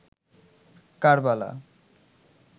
Karbala